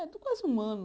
É, quase um ano.